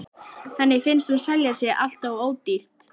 Henni finnst hún selja sig alltof ódýrt.